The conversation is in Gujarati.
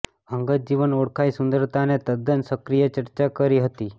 અંગત જીવન ઓળખાય સુંદરતાને તદ્દન સક્રિય ચર્ચા કરી હતી